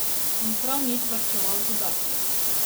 In prav nič varčeval z udarci.